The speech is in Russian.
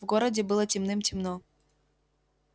в городе было темным-темно